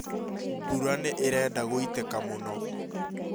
Mbura nĩ ĩrenda guĩtĩka mũno